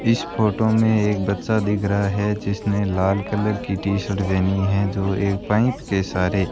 इस फोटो में एक बच्चा दिख रहा है जिसने लाल कलर की टी शर्ट देनी है जो एक के सहारे --